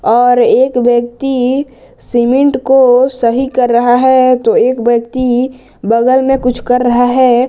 और एक व्यक्ति सीमेंट को सही कर रहा है तो एक व्यक्ति बगल में कुछ कर रहा है।